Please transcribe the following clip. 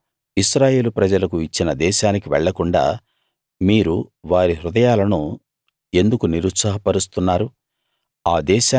యెహోవా ఇశ్రాయేలు ప్రజలకు ఇచ్చిన దేశానికి వెళ్ళకుండా మీరు వారి హృదయాలను ఎందుకు నిరుత్సాహ పరుస్తున్నారు